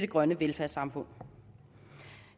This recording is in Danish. grønne velfærdssamfund